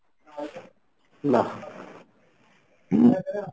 না , হম।